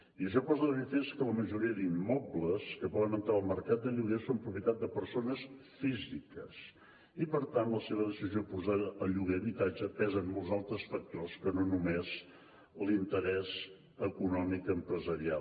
i això posa de manifest que la majoria d’immobles que poden entrar al mercat de lloguer són propietat de persones físiques i per tant en la seva decisió de posar a lloguer l’habitatge pesen molts altres factors que no només l’interès econòmic empresarial